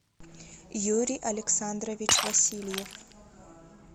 юрий александрович васильев